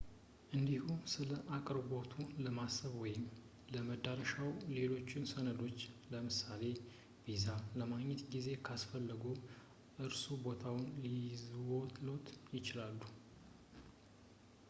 እንዲሁም ስለአቅርቦቱ ለማሰብ ወይም ለመድረሻዎ ሌሎች ሰነዶችን ለምሳሌ፥ ቪዛ ለማግኘት ጊዜ ካስፈለግዎ እነርሱ ቦታውን ልይዙልዎት ይችላሉ